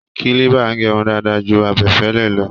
Kílíbà ń gẹrun dáadáa ju abẹfẹ́lẹ́ lọ